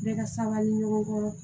Bɛɛ ka sanga ni ɲɔgɔn